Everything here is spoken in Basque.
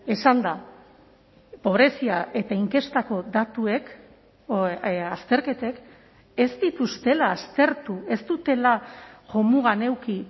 esanda pobrezia eta inkestako datuek azterketek ez dituztela aztertu ez dutela jomugan eduki